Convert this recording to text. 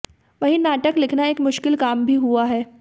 वहीं नाटक लिखना एक मुश्किल काम भी हुआ है